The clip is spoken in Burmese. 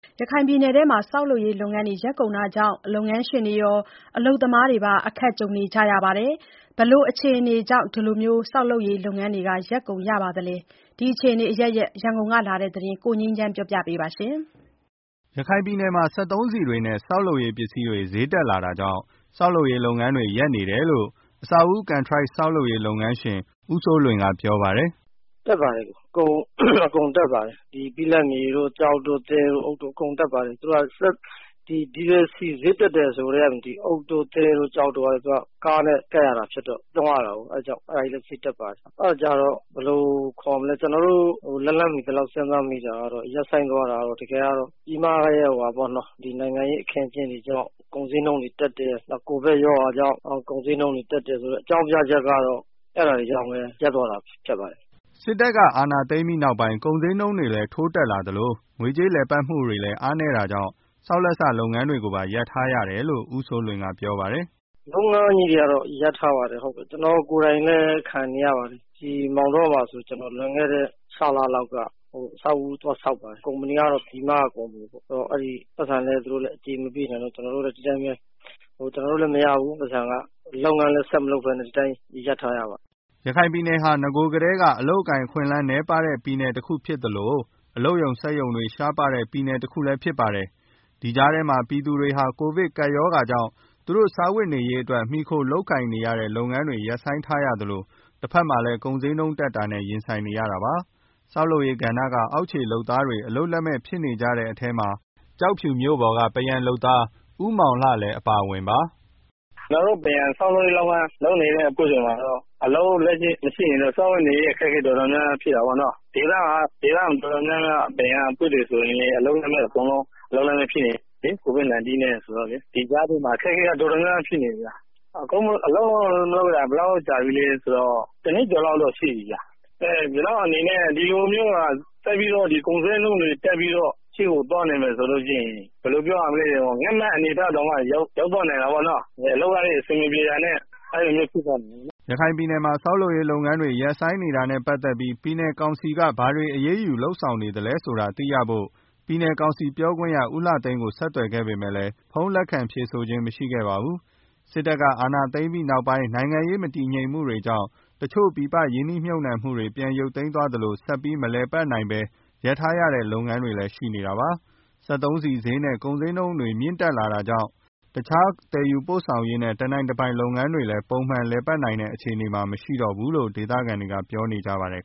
ရခိုင်ပြည်နယ်တွင်းမှာ ဆောက်လုပ်ရေးလုပ်ငန်းတွေ ရပ်ကုန်တာကြောင့် လုပ်ငန်းရှင်တွေရော အလုပ်သမားတွေပါ အခက်ကြုံနေကြရပါတယ်။ ဘယ်လိုအခြေအနေတွေကြောင့် ဆောက်လုပ်ရေးလုပ်ငန်းတွေ ရပ်ကုန်တာပါလဲ... ဒီအခြေအနေအရပ်ရပ် ရန်ကုန်ကလာတဲ့သတင်းကို ကိုငြိမ်းချမ်းက ပြောပြပါမယ်။ ရခိုင်ပြည်နယ်မှာ စက်သုံးဆီတွေနဲ့ ဆောက်လုပ်ရေးပစ္စည်းတွေ ဈေးတက်လာတာကြောင့် ဆောက်လုပ်ရေး လုပ်ငန်း တွေ ရပ်နေတယ်လို့ အဆောက်အဦး ကန်ထရိုက်ဆောက်လုပ်ရေး လုပ်ငန်းရှင် ဦးစိုးလွင်က ပြောပါတယ်။ “အကုန်တက်ပါတယ်။ ဘိလပ်မြေတို့ အုတ်၊ သဲ၊ ကျောက်တို့ အကုန်တက်ပါတယ်။ စက်သုံးဆီဈေးတက်တယ်ဆိုကတည်းက အုတ်၊ သဲ၊ ကျောက်တွေက ကားနဲ့လုပ်ရတာဆိုတော့ အဲဒါတွေလည်းဈေးတက်ပါတယ်။ လုပ်ငန်းတွေ ရပ်ဆိုင်းသွားတာက ဘယ်လိုပြောမလဲ၊ ပြည်မရဲ့ နိုင်ငံရေးအခင်းအကျင်းတွေကြောင့် ကုန်ဈေးနှုန်းတွေတက်တယ်၊ ကိုဗစ်ရောဂါကြောင့်၊ အကြောင်းကတော့ အဲဒါတွေကြောင့်ပဲ ရပ်သွားတာဖြစ်ပါတယ်။” စစ်တပ်က အာဏာသိမ်းပြီးနောက်ပိုင်း ကုန်ဈေးနှုန်းတွေလည်း ထိုးတက်လာသလို ငွေကြေးလည်ပတ်မှုတွေလည်း အားနည်းတာတွေကြောင့် ဆောက်လက်စလုပ်ငန်းတွေကိုပါ ရပ်ထားရတယ်လို့လည်း ဦးစိုးလွင်ကပြောပါတယ်။ “လုပ်ငန်းတွေက ရပ်ထားပါတယ်။ ကျနော်ကိုယ်တိုင်လည်း ခံနေရပါတယ်။ ဒီ မောင်တောဆိုရင် ကျနော် လွန်ခဲ့တဲ့ ခြောက်လလောက်က အဆောက်အဦးသွားဆောက်ပါတယ်။ ကုမ္ပဏီကတော့ ပြည်မကပါပဲ။ ပိုက်ဆံလည်း သူတို့ မပေးနိုင်တော့ ကျနော်တို့လည်းမရဘူး ပိုက်ဆံက၊ လုပ်ငန်းလည်း မလုပ်ဘဲ ဒီအတိုင်းပဲ ရပ်ထားရပါတယ်။” ရခိုင်ပြည်နယ်ဆိုတာက နဂိုကတည်းက အလုပ်အကိုင်အခွင့်အလမ်းနည်းပါးတဲ့ ပြည်နယ်တခုဖြစ်လို့ အလုပ်ရုံစက်ရုံတွေ ရှားပါးတဲ့ ပြည်နယ်တခုလည်း ဖြစ်ပါတယ်။ ဒီကြားထဲမှာပဲ ပြည်သူတွေဟာ ကိုဗစ်ကပ်ရောဂါကြောင့် သူတို့စားဝတ်နေရေးအတွက် မှီခိုလုပ်ကိုင်နေရတဲ့ လုပ်ငန်းတွေကို ရပ်ဆိုင်းထားရသလို တဘက်မှာလည်း ကုန်ဈေးနှုန်းတက်တာနဲ့ပါ ရင်ဆိုင်နေရတာပါ။ ဆောက်လုပ်ရေးကဏ္ဍက အောက်ခြေလုပ်သားတွေ အလုပ်လက်မဲ့ဖြစ်နေကြတဲ့ထဲ ကျောက်ဖြူမြို့ပေါ်က ပန်းရံလုပ်သား ဦးမောင်လှလည်း အပါအဝင်ပါ။ “ကျနော်တို့ ပန်းရံ ဆောက်လုပ်ရေးလုပ်ငန်း လုပ်နေတဲ့အဖွဲ့တွေမှာတော့ အလုပ်မရှိရင်တော့ စားဝတ်နေရေး တော်တော်များများ ဖြစ်တာပေါ့နော်။ ဒေသခံ ပန်းရံအဖွဲ့တွေ တော်တော်များများလည်း အလုပ်လက်မဲ့တွေ ဖြစ်ကုန်ကြတာပေါ့နော်။ ကိုဗစ် ၁၉ နဲ့ဆိုတော့၊ ဒီကြားထဲမှာ အခက်အခဲက တော်တော်များများ ဖြစ်နေကြတယ်ဗျာ။ အလုပ်မလုပ်ရတာလည်း တနှစ်ကျော်လောက်ရှိပြီဗျာ။ ဒီလိုမျိုးသာ ကုန်ဈေးနှုန်းတက် အလုပ်အကိုင်မရှိဘဲ ဖြစ်နေရင်တော့ ငတ်မယ့်အနေအထားကို ရောက်သွားနိုင်တာပေါ့နော်။” ရခိုင်ပြည်နယ်မှာ ဆောက်လုပ်ရေးလုပ်ငန်းတွေ ရပ်ဆိုင်းနေတာနဲ့ပတ်သက်ပြီး ပြည်နယ်ကောင်စီက ဘာတွေအရေးယူ လုပ်ဆောင်နေသလဲဆိုတာသိရဖို့ ပြည်နယ်ကောင်စီပြောခွင့်ရ ဦးလှသိန်းကို ဆက်သွယ်ခဲ့ပေမယ့် ဖုန်းလက်ခံဖြေဆိုခြင်း မရှိခဲ့ပါဘူး။ စစ်တပ်က အာဏာသိမ်းပြီးနောက်ပိုင်း နိုင်ငံရေးမတည်ငြိမ်မှုတွေကြောင့် တချို့ ပြည်ပရင်းနှီးမြှုပ်နှံမှုတွေ ပြန်ရုပ်သိမ်းသွားသလို ဆက်ပြီးမလည်ပတ်နိုင်ဘဲ ရပ်ထားရတဲ့ လုပ်ငန်းတွေလည်း ရှိနေတာပါ။ စက်သုံးဆီဈေးတွေနဲ့ ကုန်ဈေးနှုန်းတွေ မြင့်တက်လာနေတာကြောင့် တခြား သယ်ယူပို့ဆောင်ရေးနဲ့ တနိုင်တပိုင်လုပ်ငန်းတွေလည်း ပုံမှန်လည်ပတ်နိုင်တဲ့ အခြေအနေမှာမရှိတော့ဘူးလို့ ဒေသခံတွေက ပြောဆိုကြပါတယ်